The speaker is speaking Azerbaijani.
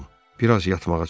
Bir az yatmağa çalış.